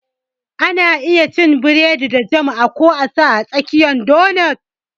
Ana iya cin biredi da jam ko a sa a tsakiyar donut